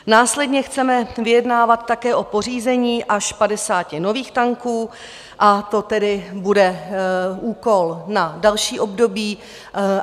Následně chceme vyjednávat také o pořízení až 50 nových tanků, a to tedy bude úkol na další období.